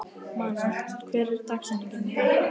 Manuel, hver er dagsetningin í dag?